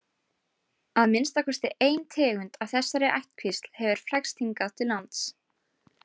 Að minnsta kosti ein tegund af þessari ættkvísl hefur flækst hingað til lands.